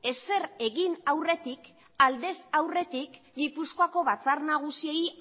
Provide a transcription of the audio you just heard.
ezer egin aurretik aldez aurretik gipuzkoako batzar nagusiei